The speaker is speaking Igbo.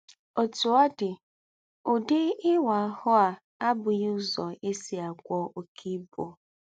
Òtú ọ̀ dí, “údí ìwá àhù́ à àbúghī úzọ́ è sí àgwọ́ óké íbú.